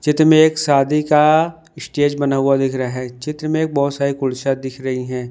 चित्र में एक शादी का स्टेज बना हुआ दिख रहा है चित्र में एक बहोत सारी कुर्सियां दिख रही हैं।